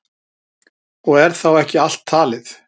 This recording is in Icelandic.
Og er þá ekki allt talið.